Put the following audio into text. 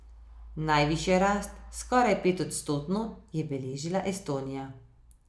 Najvišjo rast, skoraj petodstotno, je beležila Estonija.